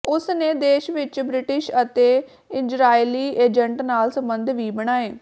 ਉਸ ਨੇ ਦੇਸ਼ ਵਿਚ ਬ੍ਰਿਟਿਸ਼ ਅਤੇ ਇਜ਼ਰਾਇਲੀ ਏਜੰਟ ਨਾਲ ਸੰਬੰਧ ਵੀ ਬਣਾਏ